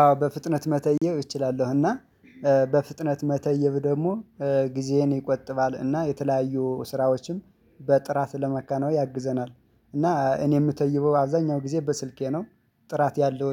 አዎ በፍጥነት መተየብ እችላለሁ። እና በፍጥነት መተየብ ደግሞ ጊዜዬን ይቆጥባል። እና የተለያዩ ስራዎችም በጥራት ለመከነው ያግዘናል። እና እኔ የምተይበው አብዛኛው ጊዜ በስልኬ ነው። ጥራት ያለው